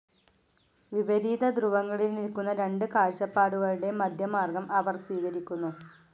വിപരീതധ്രുവങ്ങളിൽ നിൽ‌ക്കുന്ന രണ്ടു കാഴ്ചപ്പാടുകളുടെ മധ്യമാർഗ്ഗം അവർ സ്വീകരിക്കുന്നു.